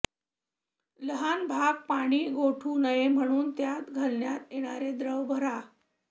लहान भाग पाणी गोठू नये म्हणून त्यात घालण्यात येणारे द्रव्य भरा